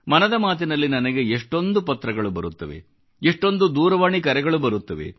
ಮನದ ಮಾತಿನಲ್ಲಿ ನನಗೆ ಎಷ್ಟೊಂದು ಪತ್ರಗಳು ಬರುತ್ತವೆ ಎಷ್ಟೊಂದು ದೂರವಾಣಿ ಕರೆಗಳು ಬರುತ್ತವೆ